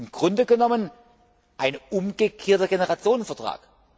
Im Grunde genommen ein umgekehrter Generationenvertrag.